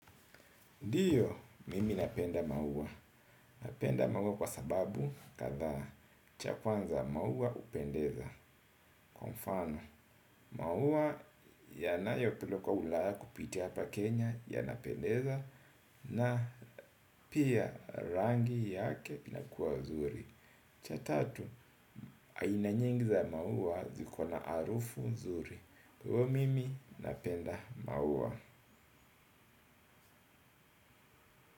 Ndiyo, mimi napenda maua. Napenda maua kwa sababu kadhaa cha kwanza maua hupendeza. Kwa mfano, maua yanayopilo kwa ulaya kupiti hapa Kenya yanapendeza na pia rangi yake inakua zuri. Cha tatu, aina nyingi za maua zikona harufu nzuri. Huo mimi napenda maua.